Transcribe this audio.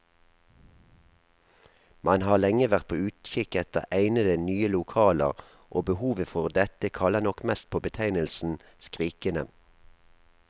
Man har lenge vært på utkikk etter egnede, nye lokaler, og behovet for dette kaller nok mest på betegnelsen skrikende.